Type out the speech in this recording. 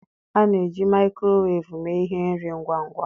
A na-eji maịkrowev mee ihe nri ngwa ngwa